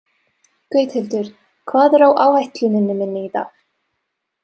Gauthildur, hvað er á áætluninni minni í dag?